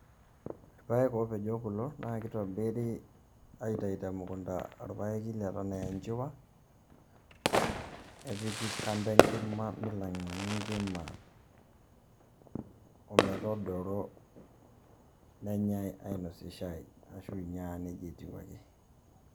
Irpaek oopejo kulo naa keitobiri aitayu te mukunda orpaeki leton aa enchiwa nepiki kando enkima meilang'a enkima ometodoro nenyai ainosie shaai arashu inya aa nejia etiu ake.